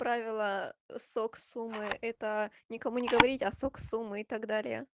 правила сок суммы это никому не говорить остаток суммы и тогда